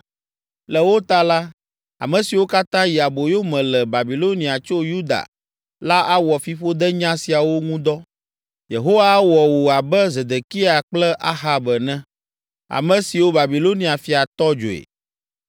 Le wo ta la, ame siwo katã yi aboyo me le Babilonia tso Yuda la awɔ fiƒodenya siawo ŋu dɔ, ‘Yehowa awɔ wò abe Zedekia kple Ahab ene, ame siwo Babilonia fia tɔ dzoe.’